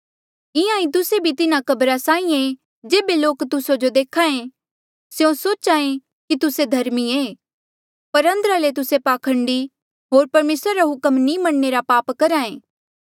इंहां ईं तुस्से भी तिन्हा कब्रा साहीं ऐें जेबे लोक तुस्सा जो देख्हा ऐें स्यों सोच्हा ऐें कि तुस्से धर्मी ऐें पर अंदरा ले तुस्से पाखंडी होर परमेसरा रे हुक्म नी मनणे रा पाप करहा ऐें